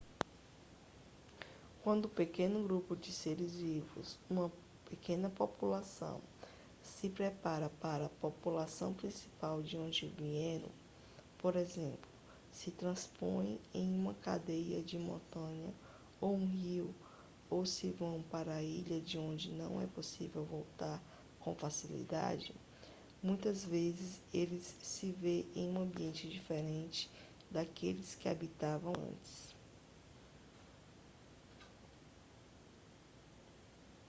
quando um pequeno grupo de seres vivos uma pequena população se separa da população principal de onde vieram por exemplo se transpõem uma cadeia de montanhas ou um rio ou se vão para uma ilha de onde não é possível voltar com facilidade muitas vezes ele se vê em um ambiente diferente daquele em que habitava antes